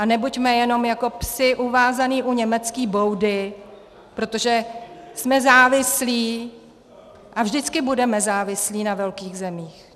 A nebuďme jenom jako psi uvázaní u německé boudy, protože jsme závislí a vždycky budeme závislí na velkých zemích.